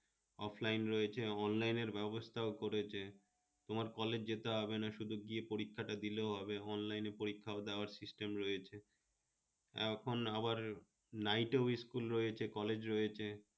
offline রয়েছে online এর ব্যবস্থাও করেছে, তোমার college যেতে হবে না শুধু গিয়ে পরীক্ষাটা দিলেও হবে online এ পরীক্ষাও দেওয়ার system রয়েছে, এখন আবার night school রয়েছে college রয়েছে